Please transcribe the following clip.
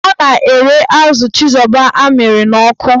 Ọ na-ere azụ chizoba amịrị n'ọkụ.